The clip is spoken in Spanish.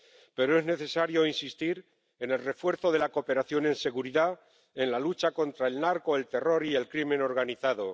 Pero es necesario insistir en el refuerzo de la cooperación en seguridad, en la lucha contra el narco, el terror y el crimen organizado